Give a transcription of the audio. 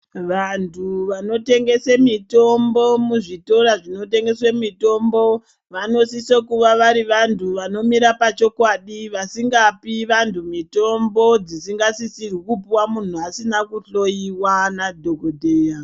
Vantu vanotengese mitombo muzvitora zvinotengese mitombo vanosise kunga vari vantu vanomira pachokwadi vasingapi vantu mitombo dzisingasisi kupihwa muntu asina kuhloyiwa nadhokodheya.